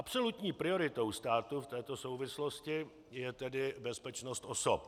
Absolutní prioritou státu v této souvislosti je tedy bezpečnost osob.